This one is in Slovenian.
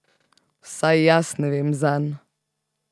Vsaj jaz ne vem zanj.